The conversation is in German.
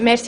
Besten